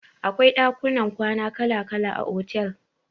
Akwai dakunan kwana kala kala a otel.